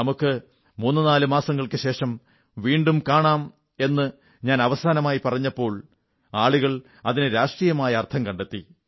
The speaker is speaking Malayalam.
നമുക്കു മൂന്നുനാലു മാസങ്ങൾക്കുശേഷം വീണ്ടും കാണാം എന്നു ഞാൻ അവസാനമായി പറഞ്ഞപ്പോൾ ആളുകൾ അതിനു രാഷ്ട്രീയമായ അർഥം കണ്ടെത്തി